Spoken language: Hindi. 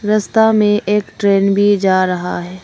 रस्ता में एक ट्रेन भी जा रहा है।